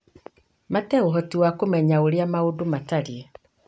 mate ũhoti wa kũmenya ũrĩa maũndũ matariĩ.